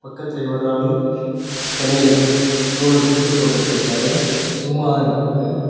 பக்கத்திலயே ஒரு ஆளு தலையில தோள்ல துண்டு போட்டுட்ருக்காரு சும்மா நிக்கிறாரு.